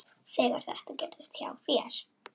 Þegar þetta gerðist hjá þér.